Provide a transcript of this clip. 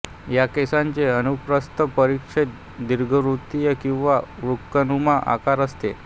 या केसांचे अनुप्रस्थ परिच्छेद दीर्घवृत्तीय किंवा वृक्कनुमा आकार असते